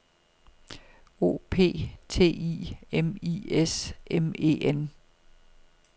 O P T I M I S M E N